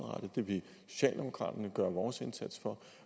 det vil socialdemokraterne gøre vores indsats for